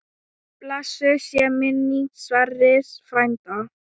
Blessuð sé minning Sverris frænda.